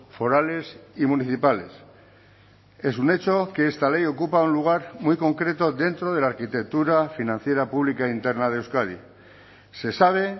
forales y municipales es un hecho que esta ley ocupa un lugar muy concreto dentro de la arquitectura financiera pública interna de euskadi se sabe